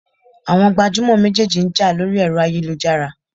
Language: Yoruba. Àwọn gbajúmọ̀ méjèèjì ń jà lórí ẹ̀rọ ayélujára.